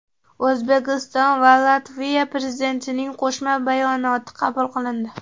O‘zbekiston va Latviya Prezidentlarining Qo‘shma bayonoti qabul qilindi .